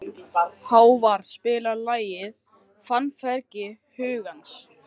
Hávarr, spilaðu lagið „Fannfergi hugans“.